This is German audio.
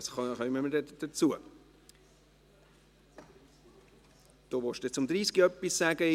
Daniel Klauser, Sie wollen etwas zu Artikel 30 sagen.